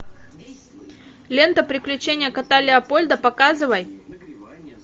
лента приключения кота леопольда показывай